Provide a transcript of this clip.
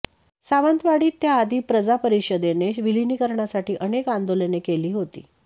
सावंतवाडीत त्या आधी प्रजा परिषदेने विलिनिकरणासाठी अनेक अंदोलने केली होती